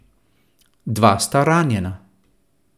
Dva sta ranjena.